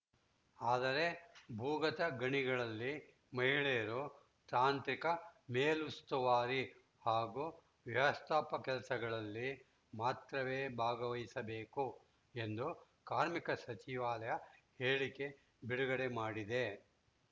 ಆದರೆ ಭೂಗತ ಗಣಿಗಳಲ್ಲಿ ಮಹಿಳೆಯರು ತಾಂತ್ರಿಕ ಮೇಲುಸ್ತುವಾರಿ ಹಾಗೂ ವ್ಯವಸ್ಥಾಪಕ ಕೆಲಸಗಳಲ್ಲಿ ಮಾತ್ರವೇ ಭಾಗವಹಿಸಬೇಕು ಎಂದು ಕಾರ್ಮಿಕ ಸಚಿವಾಲಯ ಹೇಳಿಕೆ ಬಿಡುಗಡೆ ಮಾಡಿದೆ